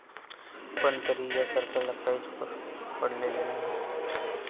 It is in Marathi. पण तरीही या सरकारला काहीच पडलेले नाही.